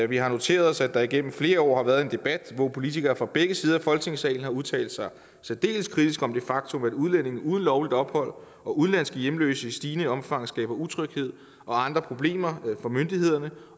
vi har noteret os at der gennem flere år har været en debat hvor politikere fra begge sider af folketingssalen har udtalt sig særdeles kritisk om det faktum at udlændinge uden lovligt ophold og udenlandske hjemløse i stigende omfang skaber utryghed og andre problemer for myndighederne